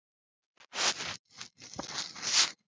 Hann er þar.